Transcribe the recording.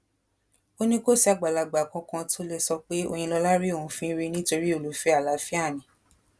ó ní kò sí àgbàlagbà kankan tó lè sọ pé òyìnlọla rí òun fín rí nítorí olùfẹ àlàáfíà ni